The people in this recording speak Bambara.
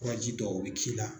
Kuraji dɔw b'i k'i la.